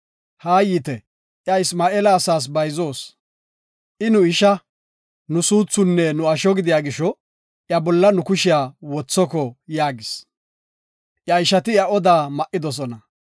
Haayite, iya Isma7eela asaas bayzoos. I nu isha, nu suuthunne nu asho gidiya gisho iya bolla nu kushiya wothoko” yaagis. Iya ishati iya odaa ma77idosona.